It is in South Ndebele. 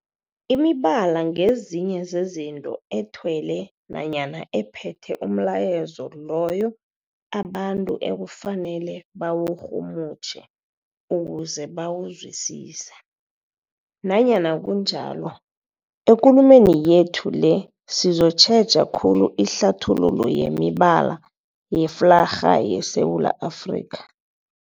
Imibala ngezinye zezinto ethelwe nanyana ephethe umlayezo loyo abantu ekufanele bawurhumutjhe ukuze bawuzwisise. Nanyana kunjalo, ekulumeni yethu le sizokutjheja khulu ihlathululo yemibala yeflarha yeSewula Afrika.